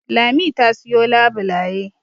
Lami ta siyo labulaye